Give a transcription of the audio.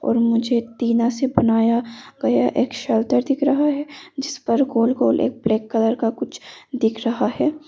मुझे टीन से बनाया गया एक शेल्टर दिख रहा है जिस पर गोलगोल एक ब्लैक कलर का कुछ दिख रहा है।